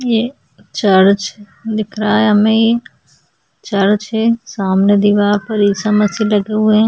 ये चर्च दिख रहा है हमें ये चर्च है सामने दीवार पर ईसा मसीह लगे हुए हैं।